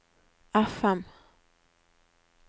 FM